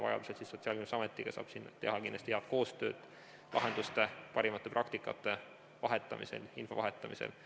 Vajaduse korral saab ka Sotsiaalkindlustusametiga teha kindlasti head koostööd lahenduste ja parimate praktikate ning info vahetamisel.